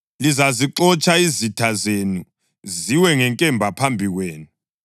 Lizazixotsha izitha zenu, ziwe ngenkemba phambi kwenu.